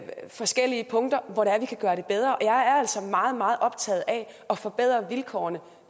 forskellige punkter hvor vi kan gøre det bedre jeg er altså meget meget optaget af at forbedre vilkårene